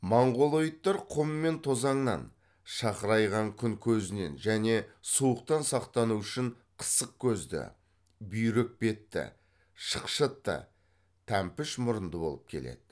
монғолоидтар құм мен тозаңнан шақырайған күн көзінен және суықтан сақтану үшін қысық көзді бүйрек бетті шықшытты тәмпіш мұрынды болып келеді